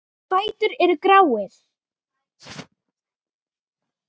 Fætur eru gráir.